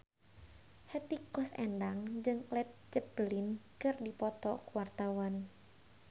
Hetty Koes Endang jeung Led Zeppelin keur dipoto ku wartawan